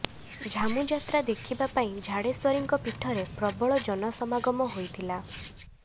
ଝାମୁଯାତ୍ରା ଦେଖିବା ପାଇଁ ଝାଡେଶ୍ୱରୀଙ୍କ ପୀଠରେ ପ୍ରବଳ ଜନସମାଗମ ହୋଇଥିଲା